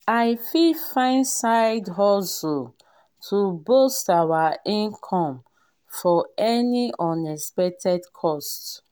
we fit find side hustle to boost our income for any unexpected cost.